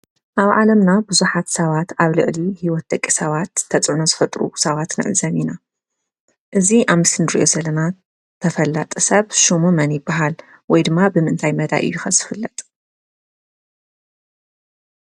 ኣብ ዓለምና ብዙሓት ሰባት ኣብ ልዕሊ ሂወት ደቂ ሰባት ተፅዕኖ ዝፈጥሩ ሰባት ንዕዘብ ኢና። እዚ ኣብ ምስሊ ንሪኦ ዘለና ተፈላጢ ሰብ ሽሙ መን ይበሃል? ወይ ድማ ብምንታይ መዳይ እዩ ዝፍለጥ ?